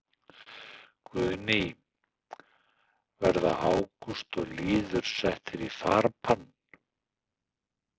Guðný: Verða Ágúst og Lýður settir í farbann?